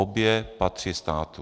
Obě patří státu.